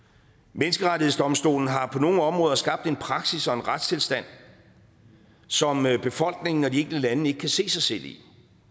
menneskerettighedsdomstolen har på nogle områder skabt en praksis og en retstilstand som befolkningen og de enkelte lande ikke kan se sig selv i